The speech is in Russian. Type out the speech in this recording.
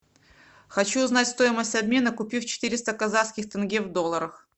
хочу узнать стоимость обмена купив четыреста казахских тенге в долларах